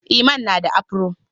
Iman na da afro.